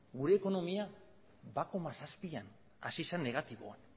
gure ekonomia bat koma zazpian hazi zen negatiboan